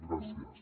gràcies